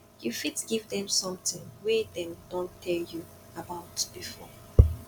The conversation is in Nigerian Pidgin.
you fit give them something wey dem don tell you about before